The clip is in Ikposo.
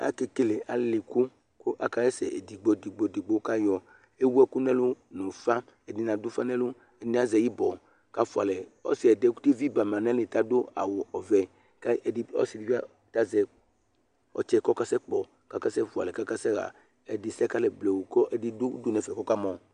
akekele ilevlesɛ, kʊ akaɣa ɛsɛ edigbo edigbo, ewʊ ɛkʊ n'ɛlʊ nʊ ufa, ɛdɩnɩ adʊ ufa n'ɛlʊ , ɛdɩnɩ azɛ ibɔ kʊ afualɛ, ɔsi yɛ kʊ evi ba nʊ atamili adʊ awu vɛ, ɔsɩdɩbɩ azɛ ɔtsɛ kʊ ɔkasɛ kpɔ, kʊ afualɛ kʊ akasɛɣa ɛyɛdɩ sɛ kʊ ɛdɩ dʊ udu nɛfɛ kʊ ɔkamɔ